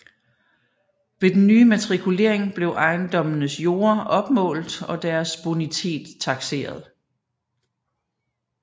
Ved den nye matrikulering blev ejendommenes jorder opmålt og deres bonitet takseret